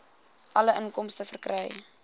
alle inkomste verkry